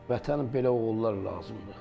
Vətənə belə oğullar lazımdır.